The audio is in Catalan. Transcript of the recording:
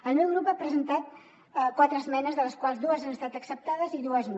el meu grup ha presentat quatre esmenes de les quals dues han estat acceptades i dues no